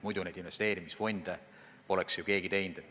Muidu ju investeerimisfonde keegi ei asutaks.